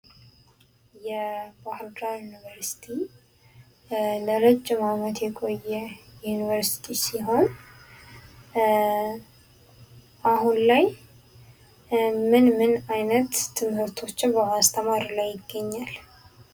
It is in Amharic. የባህር ዳር ዩኒቨርሲቲ ለረጅም ዓመት የቆየ ዩኒቨርሲቲ ሲሆን አሁን ላይ ምን ምን አይነት ትምህርቶችን በማስተማር ላይ ይገኛል?